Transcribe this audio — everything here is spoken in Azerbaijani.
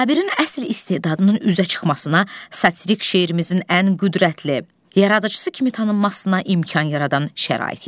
Sabirin əsl istedadının üzə çıxmasına, satirik şeirimizin ən qüdrətli yaradıcısı kimi tanınmasına imkan yaradan şərait yetişdi.